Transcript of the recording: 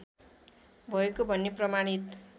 भएको भन्ने प्रमाणित